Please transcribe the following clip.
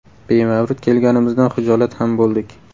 Bemavrid kelganimizdan hijolat ham bo‘ldik.